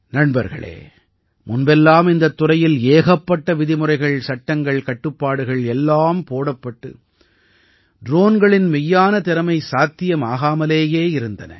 நண்பர்களே முன்பெல்லாம் இந்தத் துறையில் ஏகப்பட்ட விதிமுறைகள் சட்டங்கள் கட்டுப்பாடுகள் எல்லாம் போடப்பட்டு ட்ரோன்களின் மெய்யான திறமை சாத்தியமாகாமலேயே இருந்தன